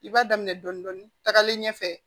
I b'a daminɛ dɔɔnin dɔɔnin tagalen ɲɛfɛ